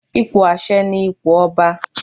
Ipò àṣẹ ni ipò ọba.